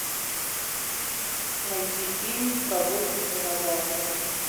найти фильм прогулки с динозаврами